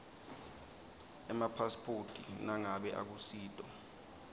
emapasiphoti nangabe akusito